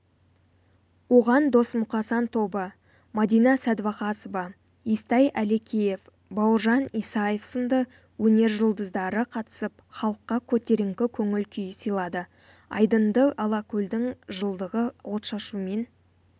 оған досмұқасан тобы мадина сәдуақасова естай әлекеев бауыржан исаев сынды өнер жұлдыздары қатысып халыққа көтеріңкі көңіл-күй сыйлады айдынды алакөлдің жылдығы отшашумен